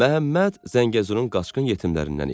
Məhəmməd Zəngəzurun qaçqın yetimlərindən idi.